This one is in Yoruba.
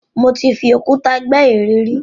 Mo ti fi òkúta gbẹ́ ère rí.